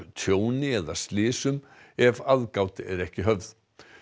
tjóni eða slysum ef aðgát er ekki höfð